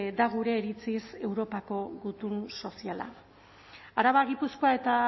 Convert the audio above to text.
da gure iritziz europako gutun soziala araba gipuzkoa eta